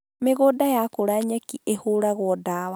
Mĩgũnda yakũra nyeki ĩhũragwo dawa